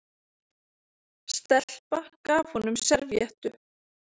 Stelpa gaf honum servíettu.